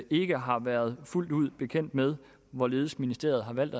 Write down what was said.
ikke har været fuldt ud bekendt med hvorledes ministeriet har valgt